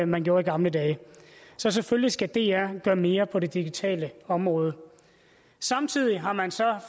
man gjorde i gamle dage så selvfølgelig skal dr gøre mere på det digitale område samtidig har man så